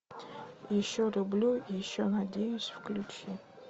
еще люблю еще надеюсь включи